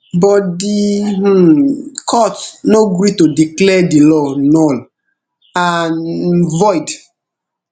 but di um court no gree to declare di law null and um void